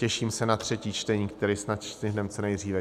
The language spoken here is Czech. Těším se na třetí čtení, které snad stihneme co nejdříve.